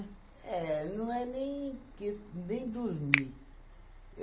É, não é nem ques nem dormir.